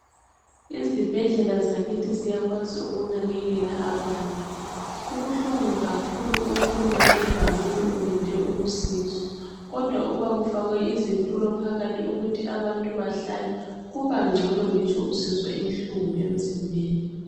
izibhedlela zakithi ziyakwazi ukunkeleka abantu kubuhlungu kakhulu ukuma endaweni ulinde ukusizwa kodwa kuba kufakwe izitulo phakathi ukuthi abantu behlale kubancono ngitsho usizwa ubuhlungu emzimbeni.